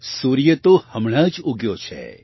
સૂર્ય તો હમણાં જ ઉગ્યો છે